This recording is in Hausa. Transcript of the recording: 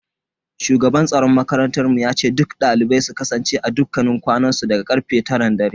Shugaban tsaron makarantar mu yace duk dalibai su kasance a dakunan kwanansu daga karfe taran dare.